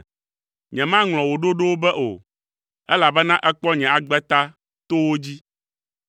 Nyemaŋlɔ wò ɖoɖowo be o, elabena èkpɔ nye agbe ta to wo dzi.